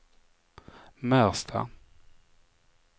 Märsta